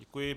Děkuji.